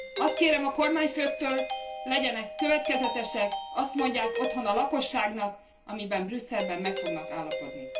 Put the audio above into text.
Azt kérem a kormányfőktől, legyenek következetesek, azt mondják otthon a lakosságnak, amiben Brüsszelben meg fognak állapodni.